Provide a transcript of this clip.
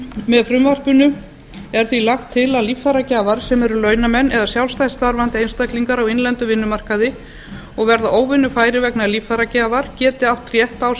með frumvarpinu er því lagt til að líffæragjafar sem eru launamenn eða sjálfstætt starfandi einstaklingar á innlendum vinnumarkaði og verða óvinnufærir vegna líffæragjafar geti átt rétt á sem